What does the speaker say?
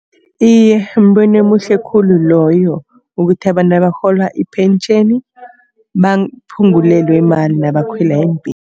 Iye, mbono omuhle khulu loyo. Ukuthi abantu abarhola ipentjheni baphungulelwe imali nabakhwela